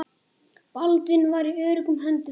Baldvin var í öruggum höndum.